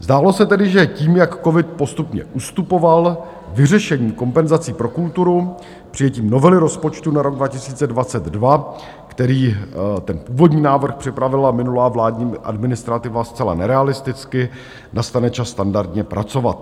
Zdálo se tedy, že tím, jak covid postupně ustupoval, vyřešení kompenzací pro kulturu přijetím novely rozpočtu na rok 2022 - který, ten původní návrh, připravila minulá vládní administrativa zcela nerealisticky - nastane čas standardně pracovat.